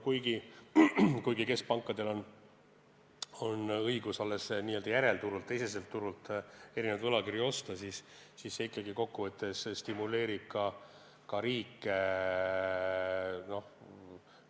Kuigi keskpankadel on õigus alles n-ö järelturult, teiseselt turult erinevaid võlakirju osta, see kokkuvõttes ikkagi stimuleerib riike teatud tegevusele.